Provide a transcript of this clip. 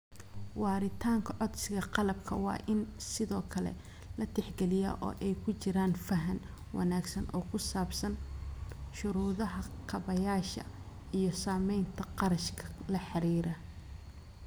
Waaritaanka codsiga qalabka waa in sidoo kale la tixgeliyaa, oo ay ku jiraan faham wanaagsan oo ku saabsan shuruudaha kaabayaasha iyo saameynta kharashka la xiriira.